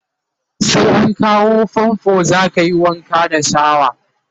sai an kawo fanfo zakayi Wanka da shawa